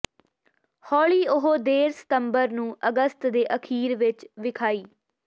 ਹੌਲੀ ਉਹ ਦੇਰ ਸਤੰਬਰ ਨੂੰ ਅਗਸਤ ਦੇ ਅਖੀਰ ਵਿੱਚ ਵਿਖਾਈ